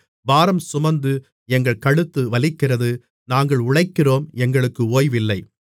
பாரம்சுமந்து எங்கள் கழுத்து வலிக்கிறது நாங்கள் உழைக்கிறோம் எங்களுக்கு ஓய்வு இல்லை